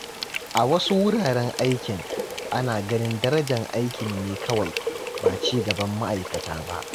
A wasu wuraren aikin, ana ganin darajar aiki ne kawai, ba ci gaban ma’aikata ba.